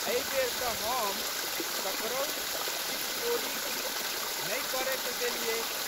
एहि बेर तऽ हम ककरहु चिटचोरी किछु नहि करए देलियै।